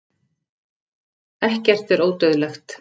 ekkert er ódauðlegt